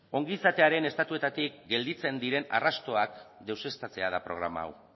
ongizatearen estatuetatik gelditzen diren arrastoak deuseztatzea da programa hau